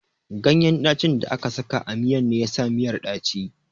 Ganyen ɗacin da aka sa a miyan ne yasa miyar ɗaci